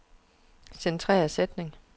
Centrer sætning.